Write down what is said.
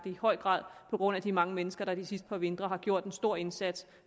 i høj grad på grund af de mange mennesker der de sidste par vintre har gjort en stor indsats